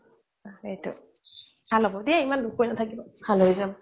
ভাল হ'ব দিয়া ইমান দুখ কৰি নাথাকিবা ভাল হৈ যাব